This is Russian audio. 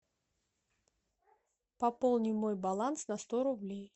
пополни мой баланс на сто рублей